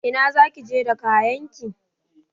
Ina zaki je da kayanki?